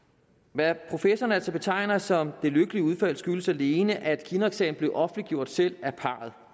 hvad professoren altså betegner som det lykkelige udfald skyldes alene at kinnocksagen blev offentliggjort selv